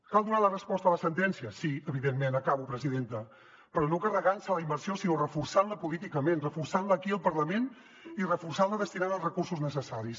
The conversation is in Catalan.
cal donar la resposta a la sentència sí evidentment acabo presidenta però no carregant se la immersió sinó reforçant la políticament reforçant la aquí al parlament i reforçant la destinant hi els recursos necessaris